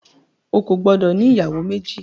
O kò gbọdọ̀ ní ìyàwó méjì.